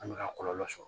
An bɛ ka kɔlɔlɔ sɔrɔ